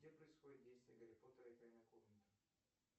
где происходит действие гарри поттер и тайная комната